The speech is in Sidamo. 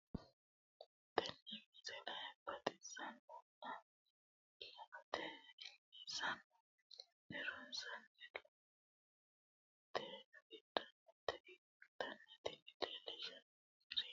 tenne misile baxisannonna la"ate injiitanno woy la'ne ronsannire lowote afidhinota ikkitanna tini leellishshannonkeri la'nummoha ikkiro tini misile budu uduunne uddidhino geerchooti.